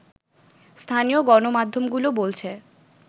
স্থানীয় গণমাধ্যমগুলো বলছে